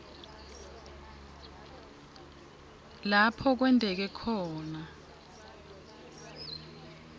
lapho kwenteke khona